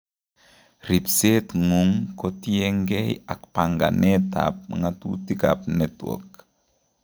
Ripseet ng'ung kotiengee ak panganeet ab ng'otutik ab network